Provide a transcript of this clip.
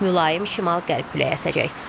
Mülayim şimal-qərb küləyi əsəcək.